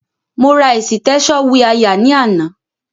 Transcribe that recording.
Mo ra ẹ̀sìtẹ́ṣọ̀ wiáyà ní àná.